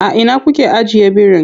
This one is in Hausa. A ina kuke ajiye birin?